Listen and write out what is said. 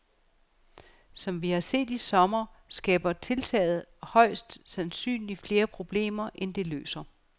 Som vi har set i sommer, skaber tiltaget højst sandsynlig flere problemer, end det løser.